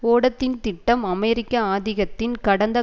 ஓடத்தின் திட்டம் அமெரிக்க ஆதிக்கத்தின் கடந்த